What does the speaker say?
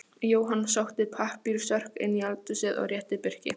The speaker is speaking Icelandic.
Jóhann sótti pappírsörk inn í eldhúsið og rétti Birki.